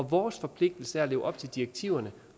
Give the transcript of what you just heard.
vores forpligtelse er at leve op til direktiverne